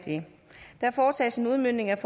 der foretages en udmøntning af